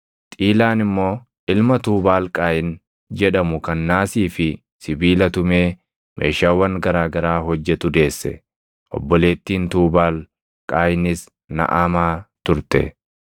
Xiilaan immoo ilma Tuubaal Qaayin jedhamu kan naasii fi sibiila tumee meeshaawwan garaa garaa hojjetu deesse; obboleettiin Tuubaal Qaayinis Naʼamaa turte.